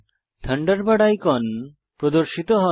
Thunderbird icon প্রদর্শিত হয়